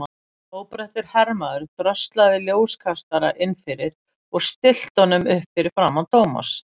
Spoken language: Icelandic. Óbreyttur hermaður dröslaði ljóskastara inn fyrir og stillti honum upp fyrir framan Thomas.